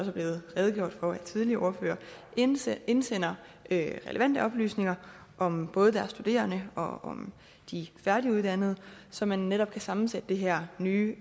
er blevet redegjort for af tidligere ordførere indsender indsender relevante oplysninger om både deres studerende og om de færdiguddannede så man netop kan sammensætte det her nye